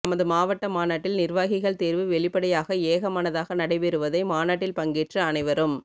நமது மாவட்ட மாநாட்டில் நிர்வாகிகள் தேர்வு வெளிப்படையாக ஏகமனதாக நடைபெற்றதை மாநாட்டில் பங்கேற்ற அனைவரும்